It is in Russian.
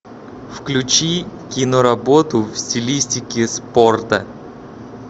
включи киноработу в стилистике спорта